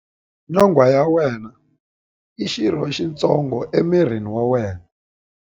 Nyonghwa ya wena i xirho xitsongo emirini wa wena.